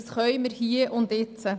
Dies können wir hier und jetzt.